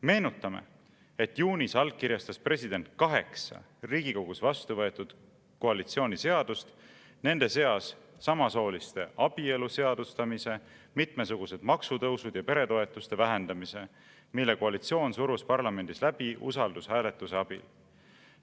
Meenutame, et juunis allkirjastas president kaheksa riigikogus vastu võetud koalitsiooni seadust, nende seas samasooliste abielu seadustamise, mitmesugused maksutõusud ja peretoetuste vähendamise, mille koalitsioon surus parlamendis läbi usaldushääletuse abil.